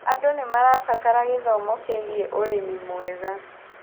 Andũ nĩmarabatara gĩthomo kĩĩgĩe ũrĩmĩ mwega